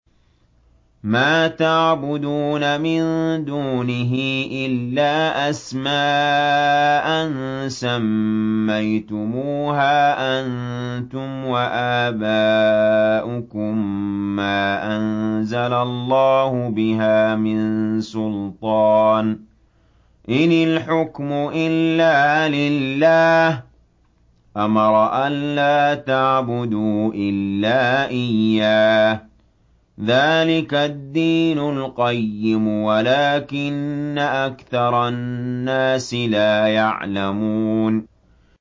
مَا تَعْبُدُونَ مِن دُونِهِ إِلَّا أَسْمَاءً سَمَّيْتُمُوهَا أَنتُمْ وَآبَاؤُكُم مَّا أَنزَلَ اللَّهُ بِهَا مِن سُلْطَانٍ ۚ إِنِ الْحُكْمُ إِلَّا لِلَّهِ ۚ أَمَرَ أَلَّا تَعْبُدُوا إِلَّا إِيَّاهُ ۚ ذَٰلِكَ الدِّينُ الْقَيِّمُ وَلَٰكِنَّ أَكْثَرَ النَّاسِ لَا يَعْلَمُونَ